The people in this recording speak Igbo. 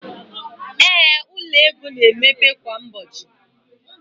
ee, ụlọ ọrụ ego na-emepe kwa ụbọchị